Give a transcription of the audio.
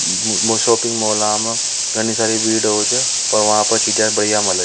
Shopping mall में घनी सारी भीड़ होव छ चीज़ बढ़िया मिले छ।